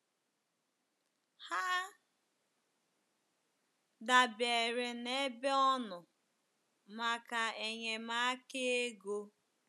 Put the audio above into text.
Ha dabeere n’ebe ọ nọ maka enyemaka ego.